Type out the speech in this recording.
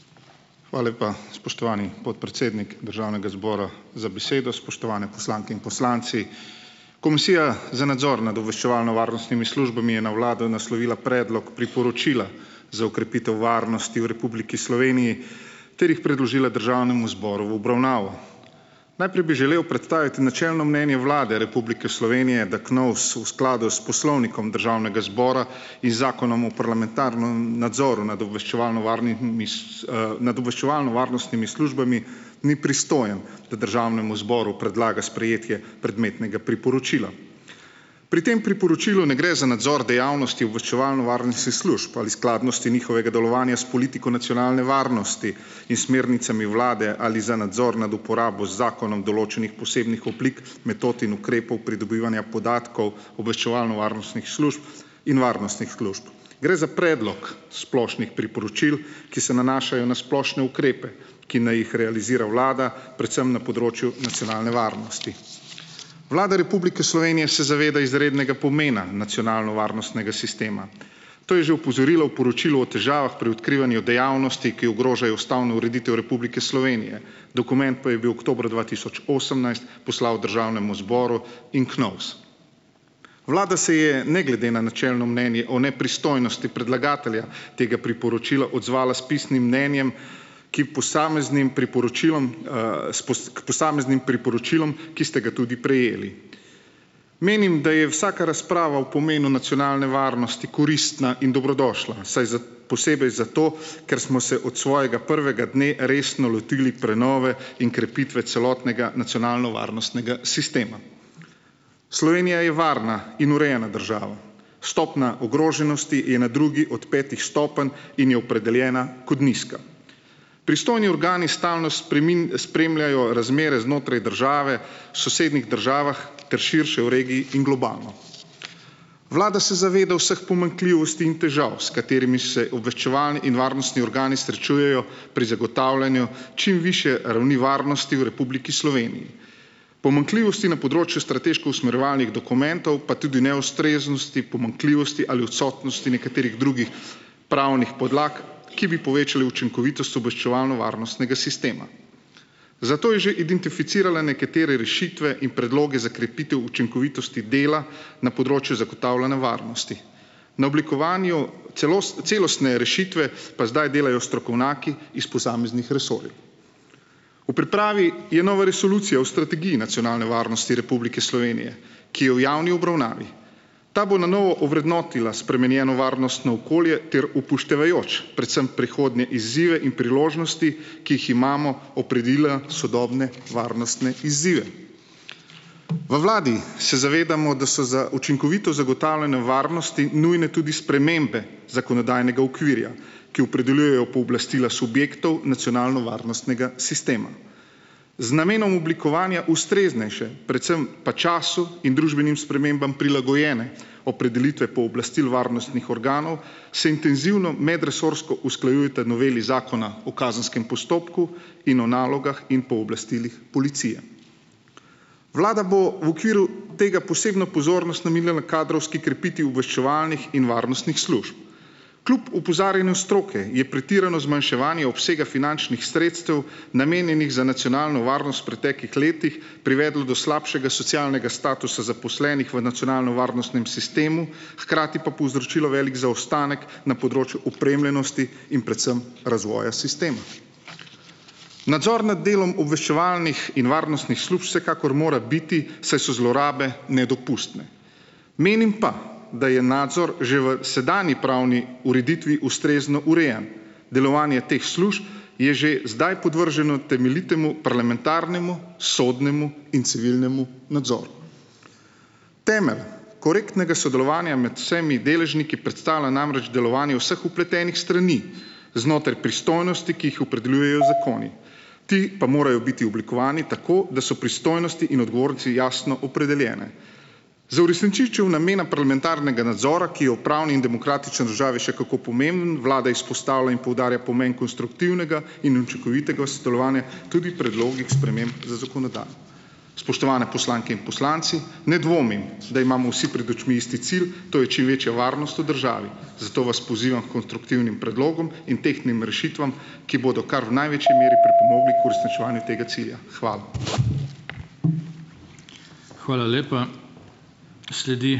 Hvala lepa, spoštovani podpredsednik državnega zbora, za besedo, spoštovane poslanke in poslanci. Komisija za nadzor nad obveščevalno varnostnimi službami je na vlado naslovila predlog priporočila za okrepitev varnosti v Republiki Sloveniji ter jih predložila državnemu zboru v obravnavo. Najprej bi želel predstaviti načelno mnenje Vlade Republike Slovenije, da KNOVS v skladu s poslovnikom državnega zbora in zakonom o parlamentarnem nadzoru nad obveščevalno varnimi nad obveščevalno-varnostimi službami ni pristojen, da državnemu zboru predlaga sprejetje predmetnega priporočila, pri tem priporočilu ne gre za nadzor dejavnosti obveščevalno-varnostnih služb ali skladnosti njihovega delovanja s politiko nacionalne varnosti in smernicami vlade ali za nadzor nad uporabo z zakonom določenih posebnih oblik metod in ukrepov pridobivanja podatkov obveščevalno-varnostnih služb in varnostnih služb. Gre za predlog splošnih priporočil, ki se nanašajo na splošne ukrepe, ki naj jih realizira vlada, predvsem na področju nacionalne varnosti. Vlada Republike Slovenije se zaveda izrednega pomena nacionalno varnostnega sistema, to je že opozorilo o poročilu o težavah pri odkrivanju dejavnosti, ki ogrožajo ustavno ureditev Republike Slovenije, dokument pa je bil oktobra dva tisoč osemnajst poslal v državnem zboru in KNOVS. Vlada se je ne glede na načelno mnenje o nepristojnosti predlagatelja tega priporočila odzvala s pisnim mnenjem, ki posameznim priporočilom, s k posameznim priporočilom, ki ste ga tudi prejeli. Menim, da je vsaka razprava o pomenu nacionalne varnosti koristna in dobrodošla, saj posebej zato, ker smo se od svojega prvega dne resno lotili prenove in krepitve celotnega nacionalno varnostnega sistema. Slovenija je varna in urejena država, stopnja ogroženosti je na drugi od petih stopenj in je opredeljena kot nizka. Pristojni organi stalnost spremljajo razmere znotraj države, v sosednjih državah ter širše v regiji in globalno. Vlada se zaveda vseh pomanjkljivosti in težav, s katerimi se obveščevalni in varnostni organi srečujejo pri zagotavljanju čim višje ravni varnosti v Republiki Sloveniji, pomanjkljivosti na področju strateško usmerjevalnih dokumentov pa tudi neustreznosti, pomanjkljivosti ali odsotnosti nekaterih drugih pravnih podlag, ki bi povečali učinkovitost obveščevalno-varnostnega sistema, zato je že identificirala nekatere rešitve in predloge za krepitev učinkovitosti dela na področju zagotavljanja varnosti, na oblikovanju celostne rešitve pa zdaj delajo strokovnjaki iz posameznih resorjev. V pripravi je nova resolucija o strategiji nacionalne varnosti Republike Slovenije, ki je v javni obravnavi, ta bo na novo ovrednotila spremenjeno varnostno okolje ter upoštevajoč predvsem prihodnje izzive in priložnosti, ki jih imamo, opredelila sodobne varnostne izzive. V vladi se zavedamo, da so za učinkovito zagotavljanje varnosti nujne tudi spremembe zakonodajnega okvirja, ki opredeljujejo pooblastila subjektov nacionalno varnostnega sistema, z namenom oblikovanja ustreznejše, predvsem pa času in družbenim spremembam prilagojene opredelitve pooblastil varnostnih organov, se intenzivno medresorsko usklajujeta noveli zakona o kazenskem postopku in o nalogah in pooblastilih policije. Vlada bo v okviru tega posebno pozornost namenila na kadrovski krepitvi obveščevalnih in varnostnih služb, kljub opozarjanju stroke je pretirano zmanjševanje obsega finančnih sredstev, namenjenih za nacionalno varnost v preteklih letih, privedlo do slabšega socialnega statusa zaposlenih v nacionalnovarnostnem sistemu, hkrati pa povzročilo veliko zaostanek na področju opremljenosti in predvsem razvoja sistema. Nadzor nad delom obveščevalnih in varnostnih služb vsekakor mora biti, saj so zlorabe nedopustne, menim pa, da je nadzor že v sedanji pravni ureditvi ustrezno urejen, delovanje teh služb je že zdaj podvrženo temeljitemu parlamentarnemu sodnemu in civilnemu nadzoru. Temelj korektnega sodelovanja med vsemi deležniki predstavlja namreč delovanje vseh vpletenih strani znotraj pristojnosti, ki jih opredeljujejo zakoni, ti pa morajo biti oblikovani tako, da so pristojnosti in odgovornosti jasno opredeljene. Za uresničitev namena parlamentarnega nadzora, ki je v pravni demokratični državi še kako vlada izpostavlja in poudarja pomen konstruktivnega in učinkovitega sodelovanja, tudi predlogih sprememb z zakonodajo. Spoštovane poslanke in poslanci, ne dvomim, da imamo vsi pred očmi isti cilj, to je čim večja varnost v državi, zato vas pozivam h konstruktivnim predlogom in tehtnim rešitvam, ki bodo kar v največji meri pripomogli k uresničevanju tega cilja. Hvala. Hvala lepa. Sledi ...